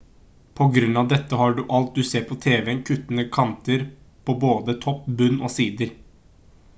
på grunn av dette har alt du ser på tv-en kuttede kanter på både topp bunn og sider